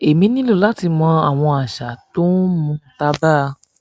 èmi nílò láti mọ àwọn àṣà tó o ń mu tábà